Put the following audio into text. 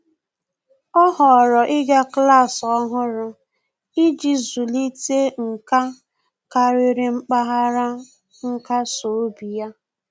Ọ́ họ̀ọ̀rọ̀ ị́gá klas ọ́hụ́rụ́ iji zụ́líté nkà kàrị́rị́ mpaghara nkasi obi ya.